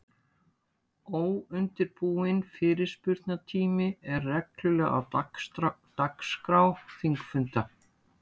Óundirbúinn fyrirspurnatími er reglulega á dagskrá þingfunda.